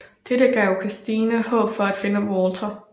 Dette gav Christine håb for at finde Walter